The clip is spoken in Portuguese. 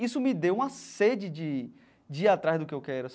Isso me deu uma sede de de ir atrás do que eu quero.